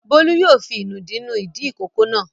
Bólú yóò fi ìnùdí nu ìdí ìkókó náà.